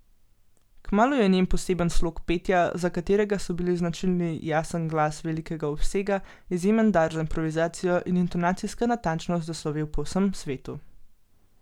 Kmalu je njen poseben slog petja, za katerega so bili značilni jasen glas velikega obsega, izjemen dar za improvizacijo in intonacijska natančnost, zaslovel po vsem svetu.